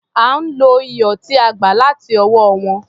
À ń lo iyọ̀ tí a gbà láti ọwọ́ wọn.